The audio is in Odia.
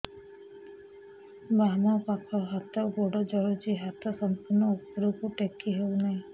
ବାମପାଖ ହାତ ଗୋଡ଼ ଜଳୁଛି ହାତ ସଂପୂର୍ଣ୍ଣ ଉପରକୁ ଟେକି ହେଉନାହିଁ